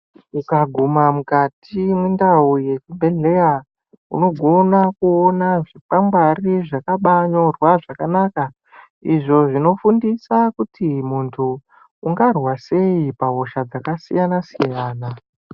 Ukaguma mukati mwendau yezvibhedhleya unogona kuona zvikwangwari zvakabanyirwa zvakana izvo zvinofundisa kuti muntu ungarwa sei pahosha dzakasiyana -siyana.